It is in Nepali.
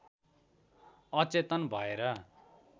अचेतन भएर